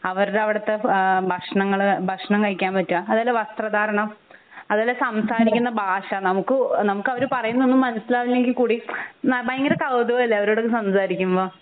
അവരുടെ അവിടത്ത ആഹ് ഭക്ഷണങ്ങൾ ഭക്ഷണം കഴിക്കാൻ പറ്റെ അവരുടെ വസ്ത്ര ധാരണം അതുപോലെ സംസാരിക്കുന്ന ഭാഷ നമുക്ക് നമുക്ക് അവർ പറയുന്നേ ഒന്നും മനസിലാവില്ലെങ്കിൽ കൂടി ഭയങ്കര കൗതുകം അല്ലെ അവരോട് ഒക്കെ സംസാരിക്കുമ്പോ